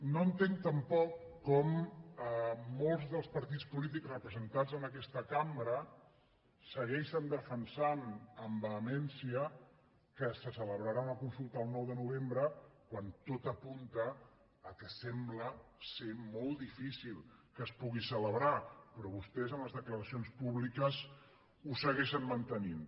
no entenc tampoc com molts dels partits polítics representats en aquesta cambra segueixen defensant amb vehemència que se celebrarà una consulta el nou de novembre quan tot apunta que sembla que és molt difícil que es pugui celebrar però vostès en les declaracions públiques ho segueixen mantenint